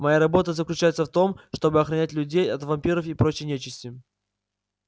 моя работа заключается в том чтобы охранять людей от вампиров и прочей нечисти